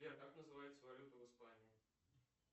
сбер как называется валюта в испании